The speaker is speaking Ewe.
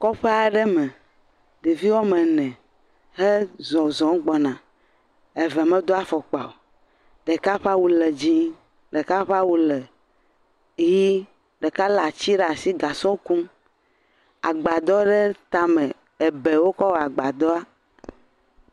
Kɔƒe aɖe me, ɖevi woame ene wo zɔzɔm gbɔna womedo afɔkpa o, ɖeka ƒe awu le dzɛ̃, ɖeka ƒe awu le ʋi, ɖeka lé ati ɖe asi le gasɔ kum, agbadɔ ɖe tame ebe wokɔ wɔ agbadɔa.